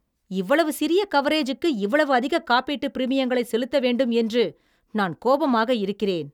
இவ்வளவு சிறிய கவரேஜுக்கு இவ்வளவு அதிக காப்பீட்டுப் பிரீமியங்களைச் செலுத்த வேண்டும் என்று நான் கோபமாக இருக்கிறேன்.